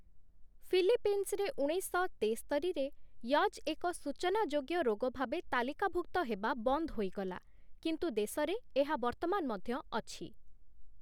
ଫିଲିପିନ୍ସରେ ଉଣେଇଶଶହ ତେସ୍ତରିରେ 'ୟଜ୍' ଏକ ସୂଚନାଯୋଗ୍ୟ ରୋଗ ଭାବେ ତାଲିକାଭୁକ୍ତ ହେବା ବନ୍ଦ ହୋଇଗଲା କିନ୍ତୁ ଦେଶରେ ଏହା ବର୍ତ୍ତମାନ ମଧ୍ୟ ଅଛି ।